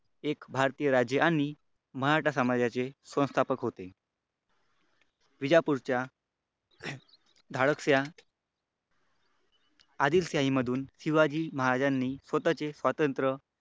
एक भारतीय राजे आणि मराठा समाजाचे संस्थापक होते. विजापूरच्या धाडकशा आदिलशाही मधून शिवाजी महाराजांनी स्वतःचे स्वातंत्र्य,